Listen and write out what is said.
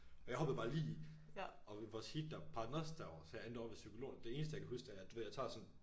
Og jeg hoppede bare lige i og ved vores heat der pegede den også derover så jeg endte ovre ved psykologerne det eneste jeg kan huske det er at du ved jeg tager sådan